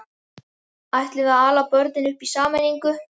Ætlum við að ala börnin upp í sameiningu?